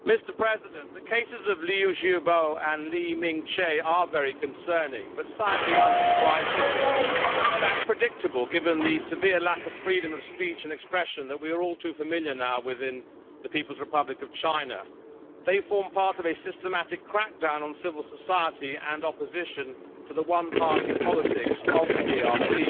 Mr President, the cases of Liu Xiaobo and Lee Ming-che are very concerning, but sadly unsurprising and, in fact, predictable, given the severe lack of freedom of speech and expression that we are now all too familiar with in the People's Republic of China. They form part of a systematic crackdown on civil society and opposition to the one party politics of the PRC.